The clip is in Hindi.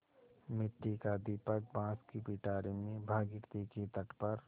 मिट्टी का दीपक बाँस की पिटारी में भागीरथी के तट पर